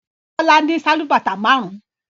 Bọ́lá ní sálúbàtà márùn-ún.